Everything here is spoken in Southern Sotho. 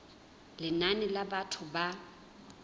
lenane la batho ba e